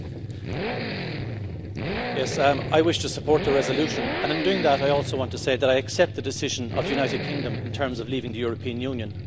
Madam President, I wish to support the resolution and, in doing that, I also want to say that I accept the decision of the United Kingdom in terms of leaving the European Union.